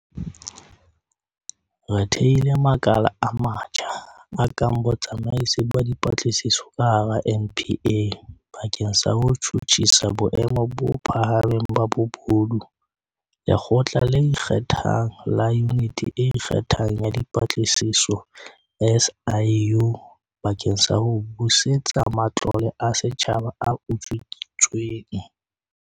Re thehile makala a matjha, a kang Botsamaisi ba Dipa tlisiso ka hara NPA bakeng sa ho tjhutjhisa boemo bo pha hameng ba bobodu, Lekgotla le Ikgethang la Yuniti e Ikge thang ya Dipatlisiso, SIU, bakeng sa ho busetsa matlole a setjhaba a utswitsweng.